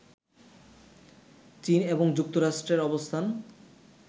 চীন এবং যুক্তরাষ্ট্রের অবস্থান